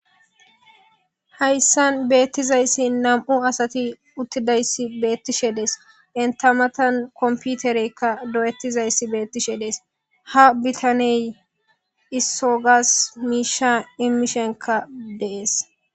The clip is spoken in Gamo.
Hayssan beettizayssi nam77u asati uttidayssi beettishe dees. Entta matan komppitereyka dooyetizayssi beettishe dees. Ha bitaney issogas miisha immishenkka dees.